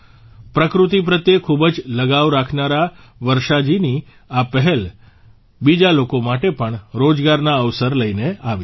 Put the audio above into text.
પ્રકૃતિ પ્રત્યે ખૂબ જ લગાવ રાખનારા વર્ષાજીની આ પહેલ બીજા લોકો માટે પણ રોજગારના અવસર લઇને આવી છે